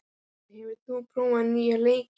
Edvin, hefur þú prófað nýja leikinn?